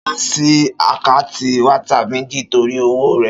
Ṣọlá sí àkáǹtì WhatsApp méjì torí òwò rẹ̀